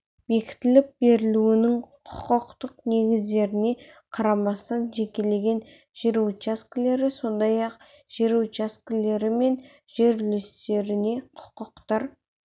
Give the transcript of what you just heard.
бекітіліп берілуінің құқықтық негіздеріне қарамастан жекелеген жер учаскелері сондай-ақ жер учаскелері мен жер үлестеріне құқықтар